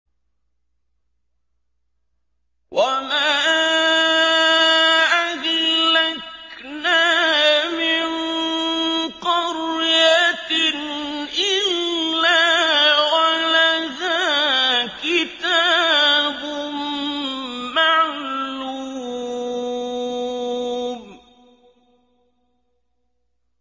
وَمَا أَهْلَكْنَا مِن قَرْيَةٍ إِلَّا وَلَهَا كِتَابٌ مَّعْلُومٌ